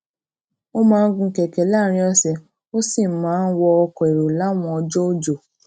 ó máa ń gun kèké láàrín òsè ó sì máa ń wọ ọkò èrò láwọn ọjó òjò